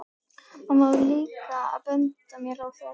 Mamma var líka að benda mér á það.